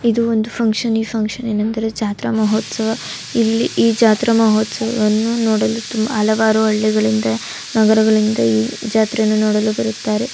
ಇದೊಂದು ಫುಕ್ಷನ್ ಈ ಫುನ್ಕ್ಷನ್ ಏನಂದರೆ ಜಾತ್ರೆ ಮಹೋತ್ಸವ. ಇಲ್ಲಿ ಈ ಜಾತ್ರೆ ಮಹೋತ್ಸವವನ್ನು ನೋಡಲು ತುಮ ಹಲವಾರು ಹಳ್ಳಿಗಳಿಂದ ನಗರಗಳಿಂದ ಈ ಜಾತ್ರೆಯನ್ನು ನೋಡಲು ಬರುತ್ತಾರೆ .